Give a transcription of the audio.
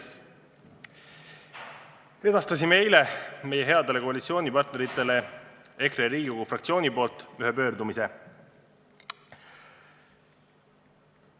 EKRE fraktsioon edastas eile oma headele koalitsioonipartneritele ühe pöördumise.